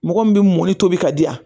Mɔgɔ min bɛ mɔni tobi ka di yan